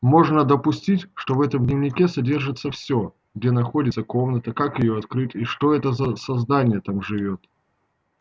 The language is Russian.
можно допустить что в этом дневнике содержится всё где находится комната как её открыть и что за создание там живёт